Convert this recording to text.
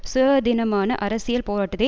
சுயாதீனமான அரசியல் போராட்டத்தை